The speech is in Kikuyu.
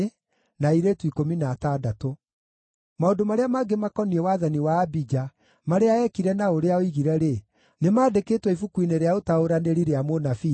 Maũndũ marĩa mangĩ makoniĩ wathani wa Abija, marĩa eekire na ũrĩa oigire-rĩ, nĩmandĩkĩtwo ibuku-inĩ rĩa ũtaũranĩri rĩa mũnabii Ido.